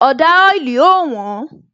Ọ̀dà oili ó wón